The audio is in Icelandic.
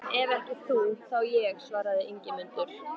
Ef ekki þú, þá ég, svaraði Ingimundur.